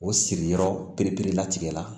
O sigiyɔrɔ belebele la tigɛ la